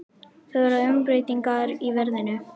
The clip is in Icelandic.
Það verða umbreytingar í veðrinu.